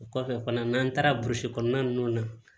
O kɔfɛ fana n'an taara burusikɔnɔna ninnu na